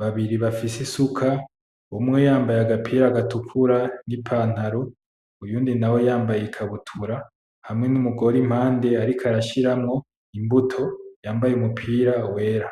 babiri bafise isuka umwe yambaye agapira gatukura ni pantaro, uyundi nawe yambaye ikabutura. Hamwe numugore impande ariko arashiramo imbuto yambaye umupira wera.